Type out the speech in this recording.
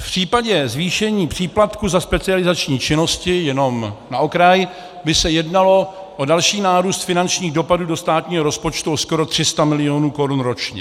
V případě zvýšení příplatku za specializační činnosti, jenom na okraj, by se jednalo o další nárůst finančních dopadů do státního rozpočtu o skoro 300 milionů korun ročně.